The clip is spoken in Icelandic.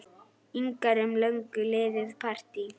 ingar um löngu liðið partý.